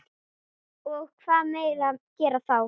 Og hvað gera menn þá?